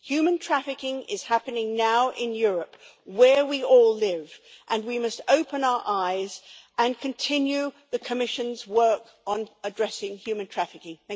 Human trafficking is happening now in Europe, where we all live, and we must open our eyes and continue the Commission's work on addressing human trafficking.